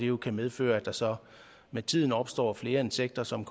jo kan medføre at der så med tiden opstår flere insekter som